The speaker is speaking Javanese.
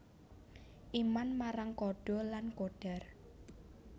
Iman marang qadha lan qadar